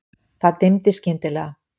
Það dimmdi skyndilega.